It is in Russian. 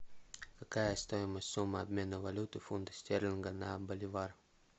какая стоимость суммы обмена валюты фунта стерлинга на боливар